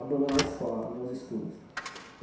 abandonar a escola, né os estudos.